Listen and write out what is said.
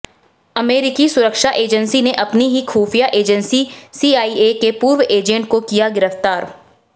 अमेरिकी सुरक्षा एजेंसी ने अपनी ही खुफिया एजेंसी सीआईए के पूर्व एजेंट को किया गिरफ्तार